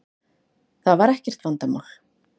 Það var ekkert vandamál.